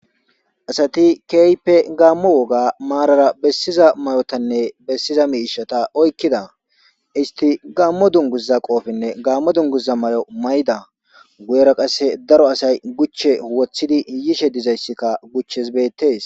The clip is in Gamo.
asati keype gaammo woga maarara bessiza mayotanne bessiza miishata oykkida isti gaammo dunguza qoofinne gammo dunguza may7o may7da guyera qasse daro asay guchche wothidi yishe dizayssikka guchches beettes